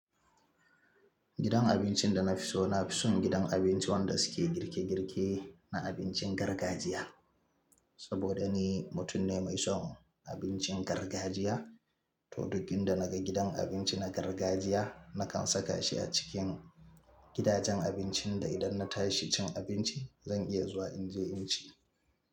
Gidan abincin da na fi so, na fi son gidan abinci wanda suke girke girke na abincin gargajiya. Saboda ni, mutum ne mai son abincin gargajiya. To duk inda naga gidan abinci na gargajiya, nakan saka shi a cikin gidajen abincin da idan na tashi cin abinci, zan iya zuwa in je in ci.